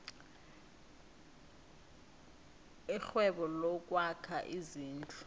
irhwebo lokwakha izindlu